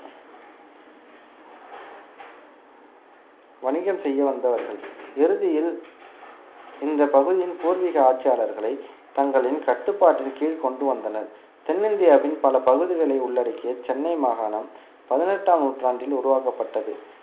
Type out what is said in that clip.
வணிகம் செய்ய வந்தவர்கள் இறுதியில் இந்த பகுதியின் பூர்வீக ஆட்சியாளர்களை தங்களின் கட்டுப்பாட்டின் கீழ் கொண்டு வந்தனர் தென்னிந்தியாவின் பல பகுதிகளை உள்ளடக்கிய சென்னை மாகாணம் பதினெட்டாம் நூற்றாண்டில் உருவாக்கப்பட்டது